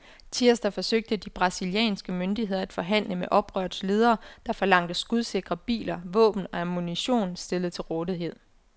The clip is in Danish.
Tirsdag forsøgte de brasilianske myndigheder at forhandle med oprørets ledere, der forlangte skudsikre biler, våben og ammunition stillet til rådighed.